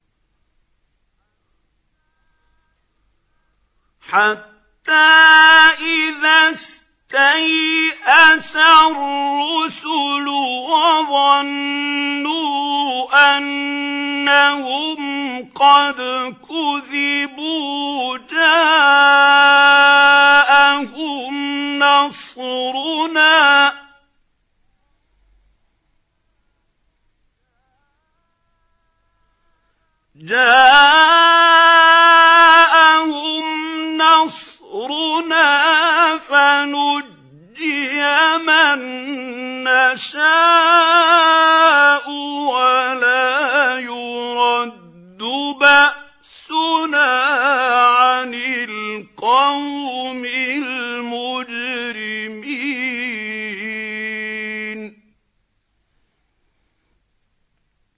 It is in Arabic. حَتَّىٰ إِذَا اسْتَيْأَسَ الرُّسُلُ وَظَنُّوا أَنَّهُمْ قَدْ كُذِبُوا جَاءَهُمْ نَصْرُنَا فَنُجِّيَ مَن نَّشَاءُ ۖ وَلَا يُرَدُّ بَأْسُنَا عَنِ الْقَوْمِ الْمُجْرِمِينَ